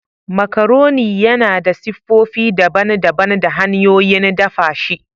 Macaroni yana da siffofi daban-daban da hanyoyin dafa shi.